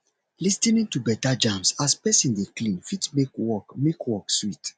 lis ten ing to better jams as person dey clean fit make work make work sweet